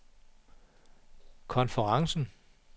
konferencen